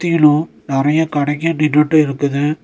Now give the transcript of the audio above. சுத்திலு நறைய கடைங்க நின்னுட்டு இருக்குது.